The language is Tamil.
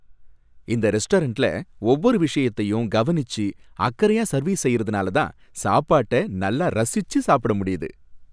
இந்த ரெஸ்டாரண்ட்ல ஒவ்வொரு விஷயத்தையும் கவனிச்சு அக்கறையா சர்வீஸ் செய்யறதுனால தான் சாப்பாட்ட நல்லா ரசிச்சு சாப்பிட முடியுது.